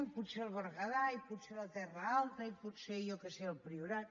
i potser al berguedà i potser a la terra alta i potser jo què sé al priorat